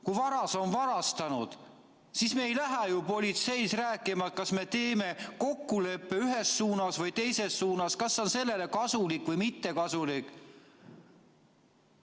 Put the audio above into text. Kui varas on varastanud, siis me ei lähe ju politseis rääkima, kas me teeme kokkuleppe ühes suunas või teises suunas, kas miski on kellelegi kasulik või mitte kasulik.